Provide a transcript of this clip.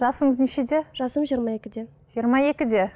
жасыңыз нешеде жасым жиырма екіде жиырма екіде